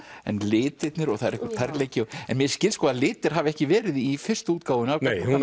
en litirnir það er einhver tærleiki en mér skilst að litir hafi ekki verið í fyrstu útgáfunni